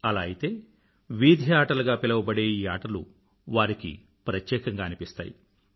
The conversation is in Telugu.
అలా అయితే వీధి ఆటలు గా పిలవబడే ఈ ఆటల వారికి ప్రత్యేకంగా అనిపిస్తాయి